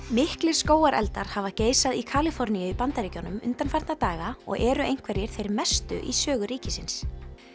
miklir skógareldar hafa geisað í Kaliforníu í Bandaríkjunum undanfarna daga og eru einhverjir þeir mestu í sögu ríkisins